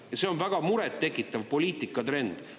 Ja see on väga murettekitav poliitikatrend.